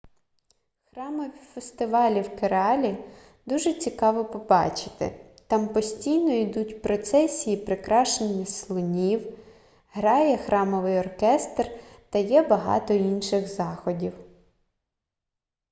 храмові фестивалі в кералі дуже цікаво побачити там постійно ідуть процесії прикрашених слонів грає храмовий оркестр та є багато інших заходів